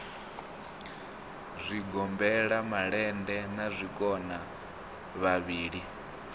zwigombela malende na zwikona vhavhili